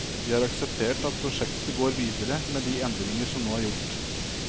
Vi har akseptert at prosjektet går videre med de endringer som nå er gjort.